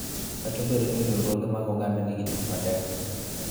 Kata obedo ni riwruoge mag oganda nigi tich matek.